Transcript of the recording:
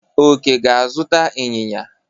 Oke ga-azụta inyinya.